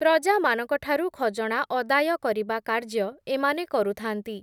ପ୍ରଜାମାନଙ୍କଠାରୁ ଖଜଣା ଅଦାୟ କରିବା କାର୍ଯ୍ୟ, ଏମାନେ କରୁଥାନ୍ତି ।